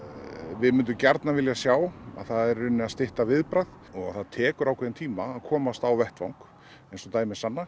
við myndum gjarnan vilja sjá er að stytta viðbragð það tekur ákveðinn tíma að komast á vettvang eins og dæmi sanna